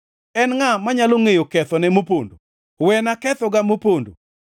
En ngʼa manyalo ngʼeyo kethone mopondo? Wena kethoga mopondo.